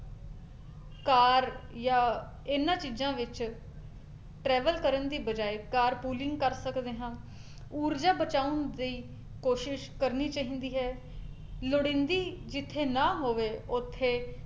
car ਜਾਂ ਇਹਨਾਂ ਚੀਜ਼ਾਂ ਵਿੱਚ travel ਕਰਨ ਦੀ ਬਜਾਏ car pooling ਕਰ ਸਕਦੇ ਹਾਂ ਊਰਜਾ ਬਚਾਉਣ ਦੀ ਕੋਸ਼ਿਸ਼ ਕਰਨੀ ਚਾਹੀਦੀ ਹੈ, ਲੋੜੀਂਦੀ ਜਿੱਥੇ ਨਾ ਹੋਵੇ ਉੱਥੇ